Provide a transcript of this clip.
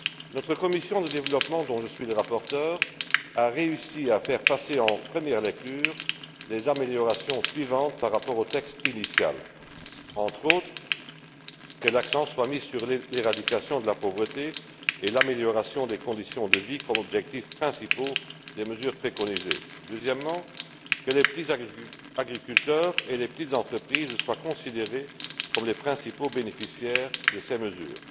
Notre commission du développement, dont je suis le rapporteur, a réussi à faire passer en première lecture les améliorations suivantes par rapport au texte initial. Entre autres, que l'accent soit mis sur l'éradication de la pauvreté et l'amélioration des conditions de vie comme objectifs principaux des mesures préconisées. Deuxièmement, que les petits agriculteurs et les petites entreprises soient considérés comme les principaux bénéficiaires de ces mesures.